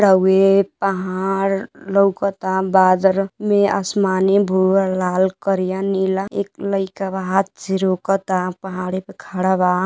हउवे पहाड़ लउकता। बादर में आसमानी भुवर लाल करिया नीला एक लइका बा। हाथ से रोकता। पहाड़े पर खड़ा बा।